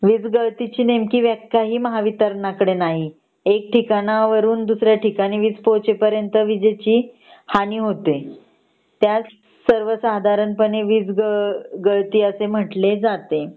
वीज गळती ची नेमकी व्याख्या पण महावितरण कदे नाहीये एक ठिकाण हून दुसऱ्या ठिकाणी वीज पोहचे पर्यंत विजेची हानी होते त्यास सर्वसधरण पणे वीज ग गळती असे म्हटले जाते